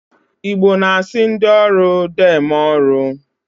Igbo na-asị ndị ọrụ deeme ọrụ